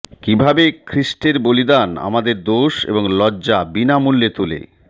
কিভাবে খ্রীষ্টের বলিদান আমাদের দোষ এবং লজ্জা বিনামূল্যে তোলে